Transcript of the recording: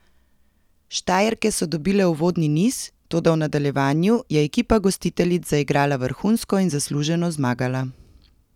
Štajerke so dobile uvodni niz, toda v nadaljevanju je ekipa gostiteljic zaigrala vrhunsko in zasluženo zmagala.